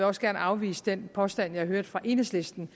også gerne afvise den påstand jeg har hørt fra enhedslistens